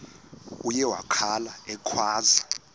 uye wakhala ekhwaza